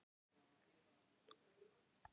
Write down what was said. Þeir eru nú ekki fyrirferðarmiklir